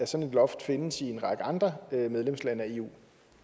sådan loft findes i en række andre medlemslande af eu